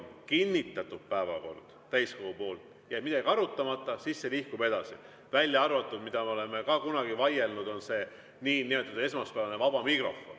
Kui päevakord on täiskogu poolt kinnitatud ja jääb midagi arutamata, siis see nihkub edasi, välja arvatud see, mille üle me oleme ka kunagi vaielnud, see niinimetatud esmaspäevane vaba mikrofon.